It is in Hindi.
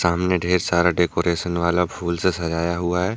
सामने ढेर सारा डेकोरेशन वाला फूल से सजाया हुआ है।